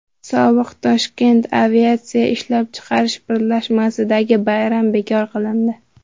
Sobiq Toshkent aviatsiya ishlab chiqarish birlashmasidagi bayram bekor qilindi.